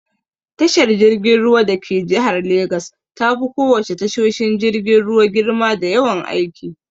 Tashar jirgin ruwa dake jihar Legas tafi ko wace tashoshin jirgin ruwa girma da yawan aiki.